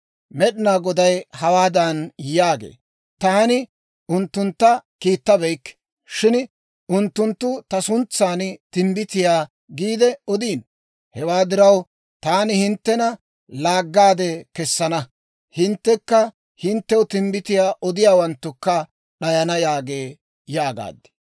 Med'inaa Goday hawaadan yaagee; ‹Taani unttunttu kiittabeykke; shin unttunttu ta suntsan, «Timbbitiyaa» giide odiino. Hewaa diraw, taani hinttena laaggaade kessana; hinttekka hinttew timbbitiyaa odiyaawanttukka d'ayana› yaagee» yaagaad.